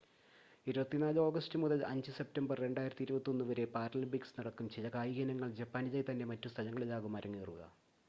24 August മുതൽ 5 September 2021 വരെ Paralympics നടക്കും.ചില കായിക ഇനങ്ങൾ ജപ്പാനിലെതന്നെ മറ്റു സ്ഥലങ്ങളിലാകും അരങ്ങേറുക